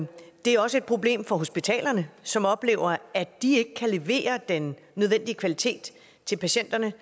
det er også et problem for hospitalerne som oplever at de ikke kan levere den nødvendige kvalitet til patienterne